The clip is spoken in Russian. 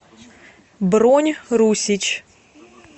бронь русич